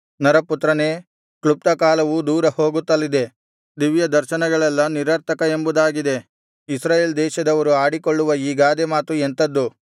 ನರಪುತ್ರನೇ ಕ್ಲುಪ್ತಕಾಲವು ದೂರ ಹೋಗುತ್ತಲಿದೆ ದಿವ್ಯದರ್ಶನಗಳೆಲ್ಲಾ ನಿರರ್ಥಕ ಎಂಬುದಾಗಿ ಇಸ್ರಾಯೇಲ್ ದೇಶದವರು ಆಡಿಕೊಳ್ಳುವ ಈ ಗಾದೆ ಮಾತು ಎಂಥದ್ದು